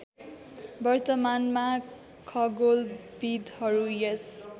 वर्तमानमा खगोलविद्हरू यस